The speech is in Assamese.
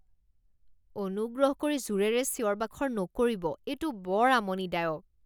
অনুগ্ৰহ কৰি জোৰেৰে চিঞৰ বাখৰ নকৰিব এইটো বৰ আমনিদায়ক।